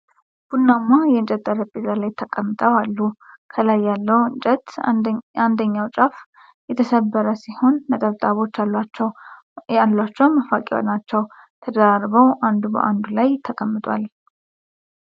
ቡናማ የእንጨት ጠረጴዛ ላይ ተቀምጠዋል አሉ። ከላይ ያለው እንጨት አንደኛው ጫፍ የተሰበረ ሲሆንነጠብጣቦች አሏቸው መፋቂያ ናቸው። ተደራርበው አንዱ ባአንዱ ላይ ተቀምጧል፡፡